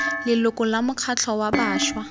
leloko la mokgatlho wa bašwa